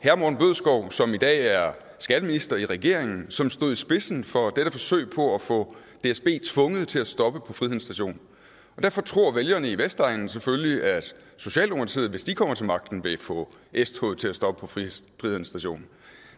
som i dag er skatteminister i regeringen som stod i spidsen for dette forsøg på at få dsb tvunget til at stoppe på friheden station derfor troede vælgerne på vestegnen selvfølgelig at socialdemokratiet hvis de kom til magten ville få s toget til at stoppe på friheden station